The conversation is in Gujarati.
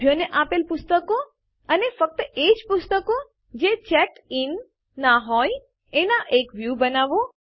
સભ્યોને અપાયેલ પુસ્તકો અને ફક્ત એજ પુસ્તકો જે ચેક્ડ ઇન ના હોય એનો એક વ્યું બનાવો